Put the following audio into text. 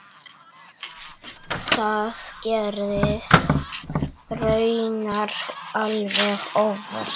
Það gerðist raunar alveg óvart.